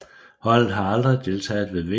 Holdet har aldrig deltaget ved VM